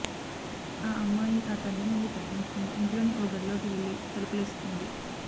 ఆ అమ్మాయి ఆ తండ్రి నుండి తప్పించుకొని ఇంట్లోని ఓ గదిలోకి వెళ్లి తలుపేసుకుంది